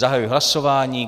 Zahajuji hlasování.